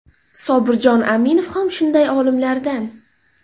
Sobirjon Aminov ham shunday olimlardan.